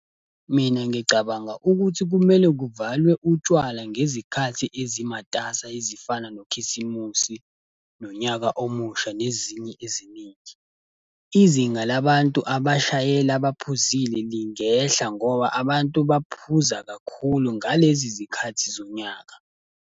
Mina ngicabanga ukuthi kumele kuvalwe utshwala ngezikhathi ezimatasa ezifana noKhisimusi nonyaka omusha, nezinye eziningi. Izinga labantu abashayela baphuzile lingehla ngoba abantu baphuza kakhulu ngalezi zikhathi zonyaka.